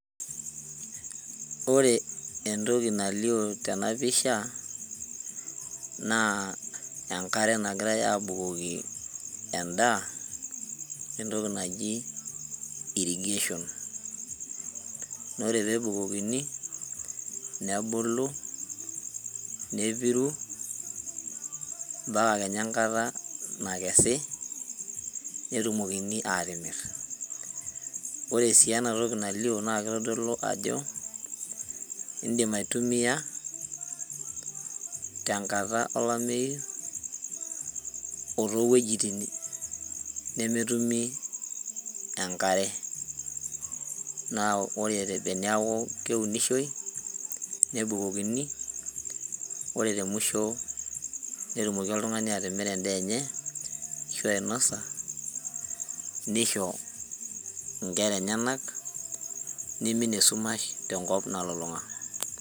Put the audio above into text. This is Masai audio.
Ore entoki nalio tena pisha naa enkare nagirae abukoki endaa entoki naji irrigation nore pebukokini nebulu nepiru mpaka kenya enkata nakesi netumokini atimirr ore sii enatoki nalio naa kitodolu ajo indim aitumiyia tenkata olameyu otowuejitin nemetumi enkare naa ore teniaku keunishoi nebukokini ore temusho netumoki oltung'ani atimira endaa enye ashu ainosa nisho inkera enyenak nimin esumash tenkop nalulung'a.